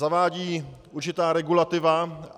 Zavádí určitá regulativa.